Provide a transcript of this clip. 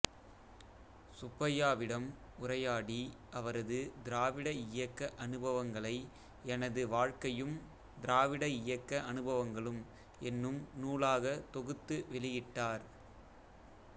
சுப்பையாவிடம் உரையாடி அவரது திராவிட இயக்க அனுபவங்களை எனது வாழ்க்கையும் திராவிட இயக்க அனுபவங்களும் என்னும் நூலாகத் தொகுத்து வெளியிட்டார்